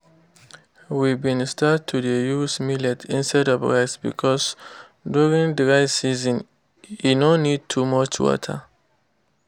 we been start to dey use millet instead of rice because during dry season e no need too much water